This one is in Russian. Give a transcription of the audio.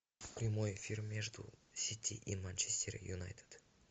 прямой эфир между сити и манчестер юнайтед